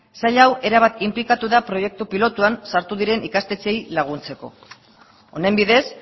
sail hau erabat inplikatu da proiektu pilotuan sartu diren ikastetxeei laguntzeko honen bidez